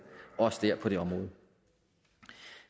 også på det område